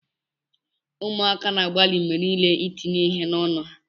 Ụmụaka na-agbalị mgbe niile itinye ihe n'ọnụ ha.